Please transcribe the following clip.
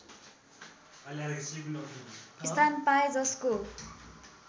स्थान पाए जसको